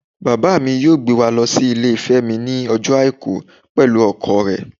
Baba mí yọọ gbé wa lo si ilé femi ní ojo aiku pẹlu ọkọ re.